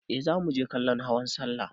Eh za muje kallon hawan sallah.